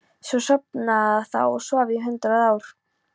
Svo sofnaði það og svaf í hundrað ár.